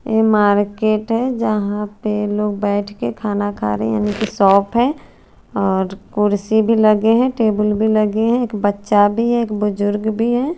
ये मार्किट है जहा पे लोग बेठ के खाना खारे उनकी शॉप है और कुर्सी भी लगे है टेबल भी लगे है एक बच्चा भी है एक बुजुर्ग भी है।